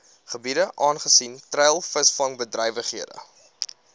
gebiede aangesien treilvisvangbedrywighede